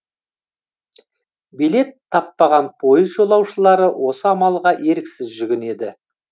билет таппаған пойыз жолаушылары осы амалға еріксіз жүгінеді